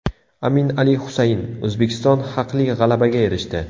Amin Ali Husayn: O‘zbekiston haqli g‘alabaga erishdi.